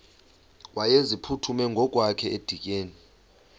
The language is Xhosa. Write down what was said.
wayeziphuthume ngokwakhe edikeni